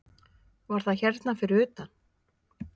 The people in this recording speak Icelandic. Var það hérna fyrir utan?